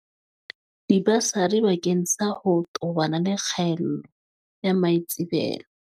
Dibasari bakeng sa ho tobana le kgaello ya maitsebelo